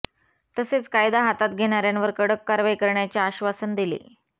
तसेच कायदा हातात घेणार्यांवर कडक कारवाई करण्याचे आश्वासन दिले